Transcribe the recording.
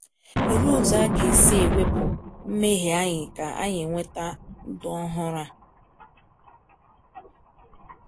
Olee otu aga e si ewepụ mmehie anyị ka anyị nweta ndụ ọhụrụ a?